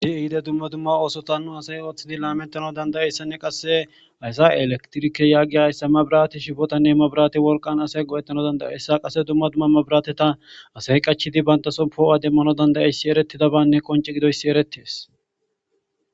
Ihide dumma dumma oosota nu asay ooththidi laametano dandayayssanne qasse haysa elektirike yaagi hayssa mabirati shifootanne mabirate wolqan asay go'ettano dandayeyssa qase dumma dumma mabirateta asay qachidi bayntaso poo'a demmano dandayayssi eretidabanne qonci gidoyssi eretees.